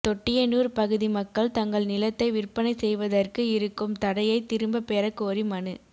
தொட்டியனூா் பகுதி மக்கள் தங்கள் நிலத்தை விற்பனை செய்வதற்கு இருக்கும் தடையை திரும்ப பெற கோரி மனு